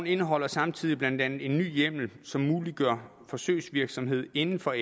indeholder samtidig blandt andet en ny hjemmel som muliggør forsøgsvirksomhed inden for